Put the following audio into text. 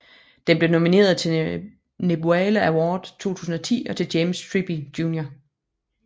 Den blev nomineret til Nebula Award 2010 og til James Tiptree Jr